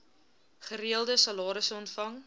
gereelde salarisse ontvang